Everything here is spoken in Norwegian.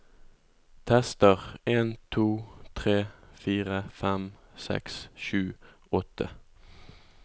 Tester en to tre fire fem seks sju åtte